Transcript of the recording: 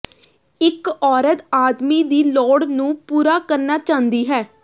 ਇੱਕ ਔਰਤ ਆਦਮੀ ਦੀ ਲੋੜ ਨੂੰ ਪੂਰਾ ਕਰਨਾ ਚਾਹੀਦਾ ਹੈ